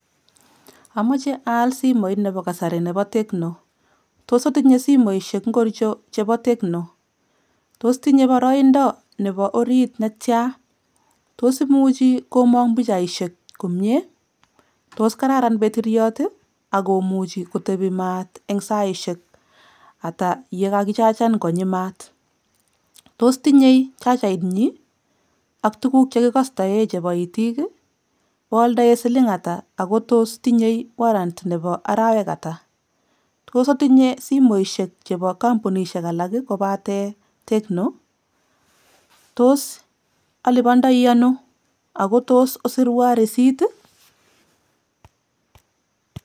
Anachei aal simooit nebo kasari nebo Tecno. Tos otinye simooshek ngorcho chebo Tecno? Tos tinye baraindo netiaa eng orit? Tos imuchi komang' pichaishet komiee? Tos tinyei betiriot nekararan ako konori maat eng saaishek ata yekakichachan konyi maat? Tos tinyei chachait nyi ak tuguk chekikastae chebo itiik? Oaldae siling ata, ako tos tinyei warrant nebo arawek ata? Tos otinye simoshek chebo kampunishek alak kopate tecno? Tos alibandeiano ako tos osirwa receipt?